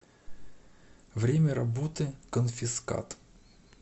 время работы конфискат